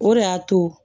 O de y'a to